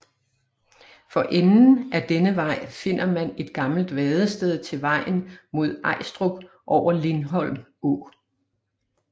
For enden af denne vej finder man et gammelt vadested til vejen mod Ajstrup over Lindholm Å